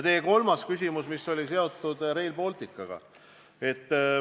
Teie kolmas küsimus oli seotud Rail Balticuga.